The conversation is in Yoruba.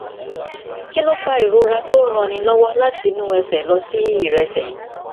kí ló ń fa ìrora tó ń ranni lówó láti inú ẹsè lọ sí ìrẹsè